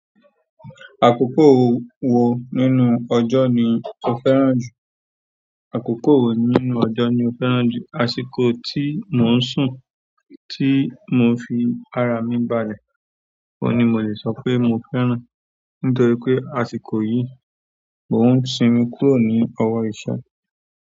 Àkókò wo nínú ọjọ́ ni o fẹ́ràn jù? Àkókò wo nínú ọjọ́ ni o fẹ́ràn jù? Àsìkò tí mò ń sùn, tí mò ń fi ara mi balẹ̀, oun ni mo le sọ pé mo fẹ́ràn, nítorí pé àsìkò yìí, mò ń sinmi kúrò ní ọwọ́ ìṣẹ́.